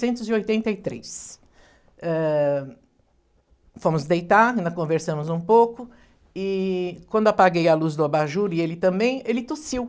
novecentos e oitenta e três. Eh... Fomos deitar, conversamos um pouco e quando apaguei a luz do abajur e ele também, ele tossiu.